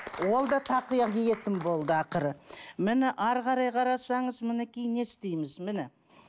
ол да тақия киетін болды ақыры міне әрі қарай қарасаңыз мінекей не істейміз міне